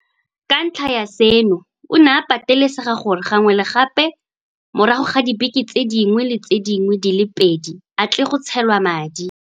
Ka ntlha ya seno, o ne a patelesega gore gangwe le gape morago ga dibeke tse dingwe le tse dingwe di le pedi a tle go tshelwa madi.